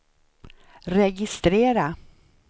registrera